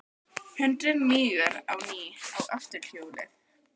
Hundurinn mígur á ný á afturhjólið.